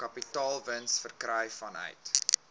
kapitaalwins verkry vanuit